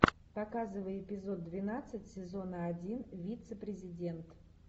показывай эпизод двенадцать сезона один вице президент